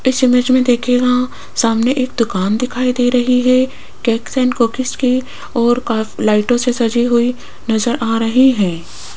इस इमेज मे देखियेगा सामने एक दुकान दिखाई दे रही है केकस एंड कुकीस की और लाइटों से सजी हुई नजर आ रही है।